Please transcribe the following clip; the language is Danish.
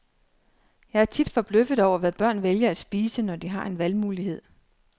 Jeg er tit forbløffet over, hvad børn vælger at spise, når de har en valgmulighed.